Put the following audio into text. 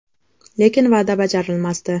Lekin va’da bajarilmasdi.